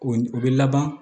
O u bɛ laban